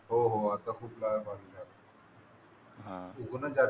हो हो आत्ता खूप कायम